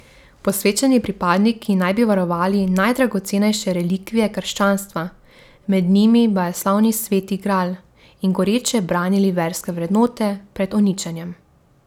Posvečeni pripadniki naj bi varovali najdragocenejše relikvije krščanstva, med njimi bajeslovni sveti gral, in goreče branili verske vrednote pred uničenjem.